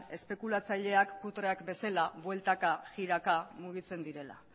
espekulatzaileak putreak bezala bueltaka jiraka mugitzen direla